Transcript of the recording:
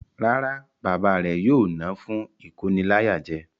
Rárá, Bàbá rẹ̀ yóò ná fún ìkóniláyàjẹ.